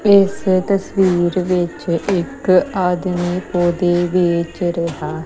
ਇਸ ਤਸਵੀਰ ਵਿੱਚ ਇੱਕ ਆਦਮੀ ਪੋਦੇ ਵੇਚ ਰਿਹਾ--